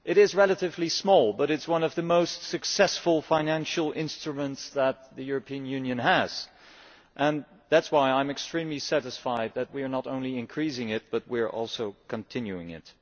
It is relatively small, but it is one of the most successful financial instruments that the European Union has and that is why I am extremely satisfied that we are not only increasing it, but also continuing it.